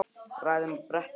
Raðið þeim á bretti eða fat.